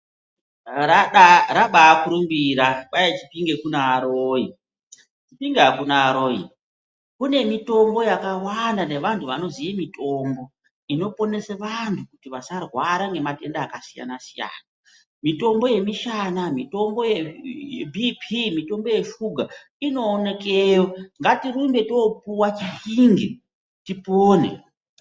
Rabakurumbira, kwai Chipinge kunaaroyi. Inga hakuna aroyi. Kune mitombo yakawanda nevanhu vanoziye mitombo, inoponese vantu kuti vasarwara ngematenda akasiyana siyana. Mitombo yemishana, mitombo yebhiipii, mitombo yeshuga inoonekeyo. Ngatirumbe topuwe kuChipinge, tipone.